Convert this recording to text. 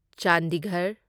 Chandigarh